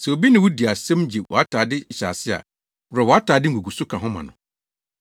Sɛ obi ne wo di asɛm gye wʼatade nhyɛase a, worɔw wʼatade nguguso ka ho ma no.